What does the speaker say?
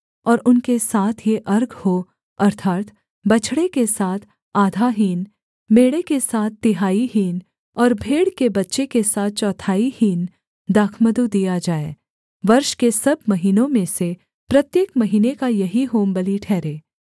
और उनके साथ ये अर्घ हों अर्थात् बछड़े के साथ आधा हीन मेढ़े के साथ तिहाई हीन और भेड़ के बच्चे के साथ चौथाई हीन दाखमधु दिया जाए वर्ष के सब महीनों में से प्रत्येक महीने का यही होमबलि ठहरे